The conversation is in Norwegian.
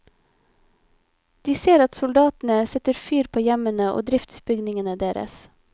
De ser at soldatene setter fyr på hjemmene og driftsbygningene deres.